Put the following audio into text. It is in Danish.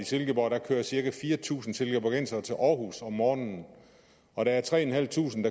silkeborg kører cirka fire tusind silkeborgensere til aarhus om morgenen og at der er tre tusind